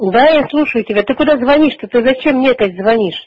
да я слушаю тебя ты куда звонишь то ты зачем мне то опять звонишь